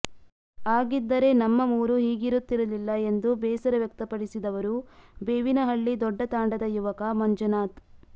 ಆಗಿದ್ದರೆ ನಮ್ಮ ಊರು ಹೀಗಿರುತ್ತಿರಲಿಲ್ಲ ಎಂದು ಬೇಸರ ವ್ಯಕ್ತಪಡಿಸಿದವರು ಬೇವಿನಹಳ್ಳಿ ದೊಡ್ಡತಾಂಡದ ಯವಕ ಮಂಜುನಾಥ್